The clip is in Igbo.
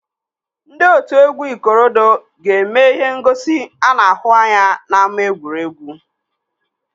Ndị otu egwu ikorodu ga-eme ihe ngosi ana ahụ anya n'ámá egwuregwu